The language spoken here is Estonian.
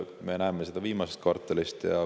Me näeme seda viimase kvartali põhjal.